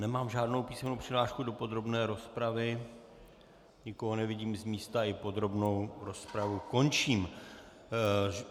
Nemám žádnou písemnou přihlášku do podrobné rozpravy, nikoho nevidím z místa, i podrobnou rozpravu končím.